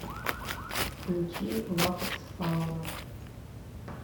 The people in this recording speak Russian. включи латексфауна